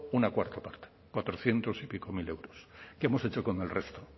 una cuarta parta cuatrocientos y pico mil euros qué hemos hecho con el resto